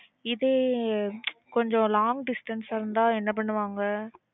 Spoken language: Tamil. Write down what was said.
இதே கொஞ்சம் long distance ஆ இருந்தா என்ன பண்ணுவாங்க?